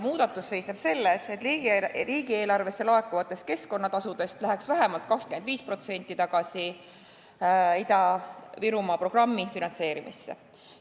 Muudatus seisneks selles, et riigieelarvesse laekuvatest keskkonnatasudest läheks vähemalt 25% tagasi Ida-Virumaa programmi finantseerimiseks.